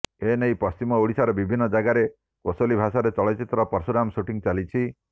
ଏନେଇ ପଶ୍ଚିମ ଓଡ଼ିଶାର ବିଭିନ୍ନ ଜାଗାରେ କୋଶଲି ଭାଷାରର ଚଳଚ୍ଚିତ୍ର ପର୍ଶୁରାମ ସୁଟିଂ ଚାଲିଛି